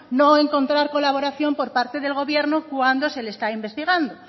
no encontrar colaboración por parte del gobierno cuando se le está investigando